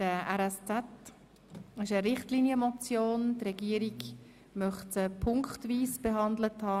Die Regierung möchte diese ziffernweise behandelt haben.